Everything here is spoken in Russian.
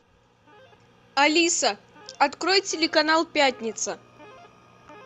алиса открой телеканал пятница